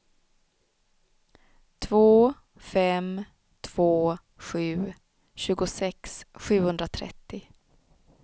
två fem två sju tjugosex sjuhundratrettio